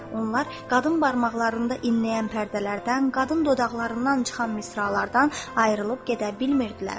Onlar qadın barmaqlarında inləyən pərdələrdən, qadın dodaqlarından çıxan misralardan ayrılıb gedə bilmirdilər.